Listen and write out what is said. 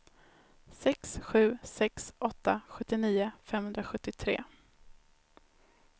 sex sju sex åtta sjuttionio femhundrasjuttiotre